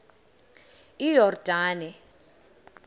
iyordane